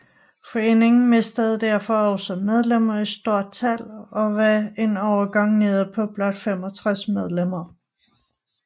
Foreningen mistede derfor også medlemmer i stort tal og var en overgang nede på blot 65 medlemmer